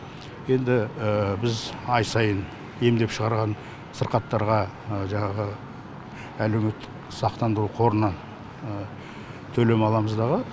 енді біз ай сайын емдеп шығарған сырқаттарға жаңағы әлеуметтік сақтандыру қорынан төлем аламыз дағы